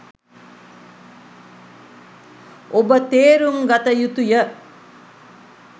ඔබ තේරුම් ගත යුතුය.